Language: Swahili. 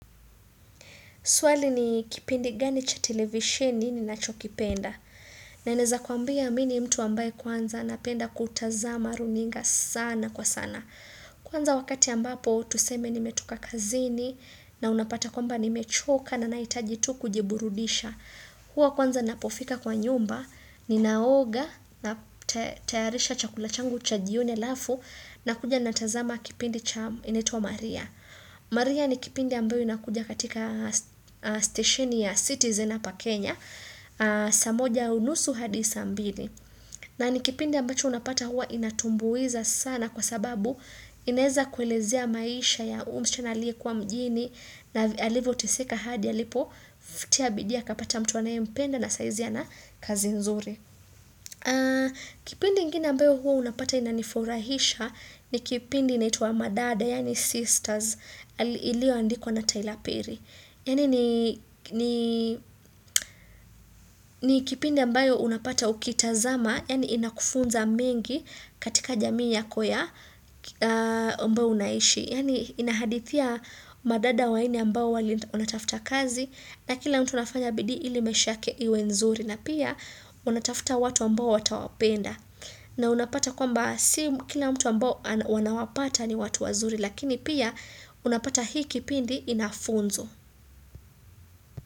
Swali ni kipindi gani cha televisheni ninacho kipenda. Na naeza kwambia mini mtu ambaye kwanza napenda kutazama runinga sana kwa sana. Kwanza wakati ambapo tuseme nimetoka kazini na unapata kwamba nimechoka na nahitaji tu kujiburudisha. Hua kwanza napofika kwa nyumba, ninaoga na tayarisha chakula changu cha jioni halafu na kuja natazama kipindi cha inaitwa maria. Maria ni kipindi ambayo inakuja katika stesheni ya citizen hapa Kenya saa moja unusu hadi saa mbili na ni kipindi ambacho unapata hua inatumbuiza sana kwa sababu inaeza kuelezea maisha ya huyu msichana aliyekuwa mjini na alivyoteseka hadi alipo Tia bidii akapata mtu anayempenda na saizi ana kazi nzuri. Kipindi ingine ambayo huwa hupata inanifurahisha ni kipindi inaitwa madada yani sisters iliyo andikwa na Taylapiri yani ni kipindi ambayo unapata ukitazama yani inakufunza mengi katika jamii yako ya mbao unaishi yani inahadithia madada wanne ambao wali wanatafuta kazi na kila mtu anafanya bidi ili maisha yake iwe nzuri na pia wanatafuta watu ambao watawapenda na unapata kwamba si kila mtu ambao wanawapata ni watu wazuri lakini pia unapata hii kipindi inafunzo.